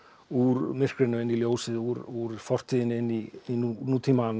úr myrkrinu inn í ljósið úr fortíðinni inn í nútímann